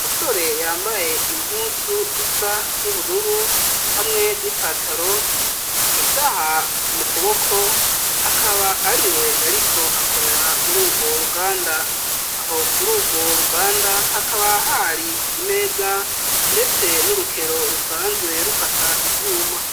mostole yambaye impuzu isa n'ubururu hamwe n'ipataro isaha mu kuboko akaba ari we yariko akorera muri ubwo ruganda aho kuri ubwo ruganda hakaba hari imeza ndetse n'urukero rusanzwe rukata ivyuma